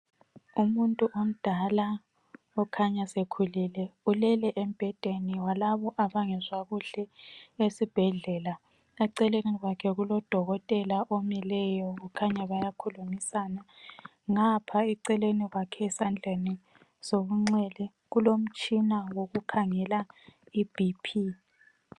Umuntu omdala okhanya sekhulile ulele embhedeni walabo abangezwa kuhle esbhedlela. Eceleni kwakhe kulodokotela omileyo kukhanya bayakhulumisana ngapha eceleni kwakhe esandleni sokunxele kulomtshina wokukhangela iBP.